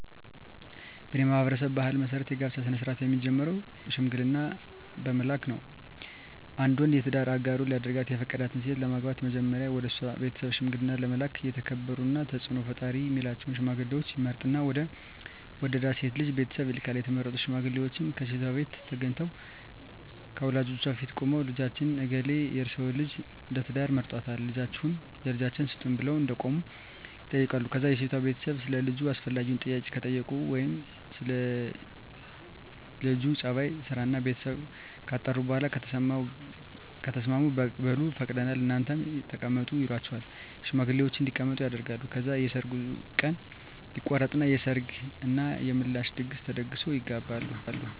በኔ ማህበረሰብ ባህል መሰረት የጋብቻ ስነ-ስርአት የሚጀምረው ሽምግልና በመላክ ነው። አንድ ወንድ የትዳር አጋሩ ሊያደርጋት የፈቀዳትን ሴት ለማግባት መጀመሪያ ወደሷ ቤተሰብ ሽምግልና ለመላክ የተከበሩና ተጽኖ ፈጣሪ ሚላቸውን ሽማግሌወች ይመርጥና ወደ ወደዳት ልጅ ቤተሰብ ይልካል፣ የተመረጡት ሽማግሌወችም ከሴቷቤት ተገንተው ከወላጆቿ ፊት ቁመው ልጃችን እገሌ የርሰወን ልጅ ለትዳር መርጧልና ልጃችሁን ለልጃችን ስጡን ብለው እንደቆሙ ይጠይቃሉ ከዛ የሴቷ ቤተሰብ ሰለ ልጁ አስፈላጊውን ጥያቄ ከጠየቁ ወይም ስለ ለጁ ጸባይ፣ ስራና ቤተሰቡ ካጣሩ በኋላ ከተስማሙ በሉ ፈቅደናል እናንተም ተቀመጡ ይሏቸውና ሽማግሌወችን እንዲቀመጡ ያደርጋሉ። ከዛ የሰርጉ ቀን ይቆረጥና የሰርግ እና የምላሽ ድግስ ተደግሶ ይጋባሉ።